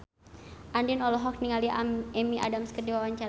Andien olohok ningali Amy Adams keur diwawancara